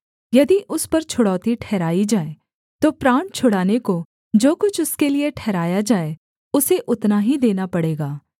यदि उस पर छुड़ौती ठहराई जाए तो प्राण छुड़ाने को जो कुछ उसके लिये ठहराया जाए उसे उतना ही देना पड़ेगा